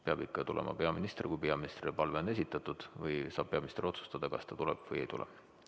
Peab ikka tulema peaminister, kui peaministrile palve on esitatud, või saab peaminister otsustada, kas ta tuleb või ei tule.